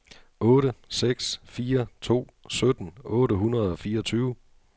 otte seks fire to sytten otte hundrede og fireogtyve